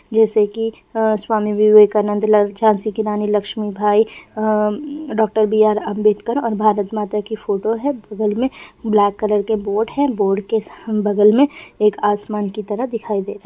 जैसे की अ स्वामी विवेकानंद ला झांसी की रानी लक्ष्मीबाई अ डाक्टर बी.आर. अम्बेडकर और भारत माता की फोटो है बगल में ब्लैक कलर के बोर्ड है बोर्ड